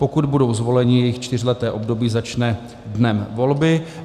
Pokud budou zvoleni, jejich čtyřleté období začne dnem volby.